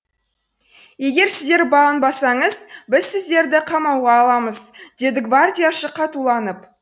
егер сіздер бағынбасаңыз біз сіздерді қамауға аламыз деді гвардияшы қатуланып